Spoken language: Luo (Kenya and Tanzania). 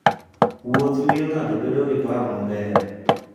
Wuoth miyo ng'ato bedo gi paro maber.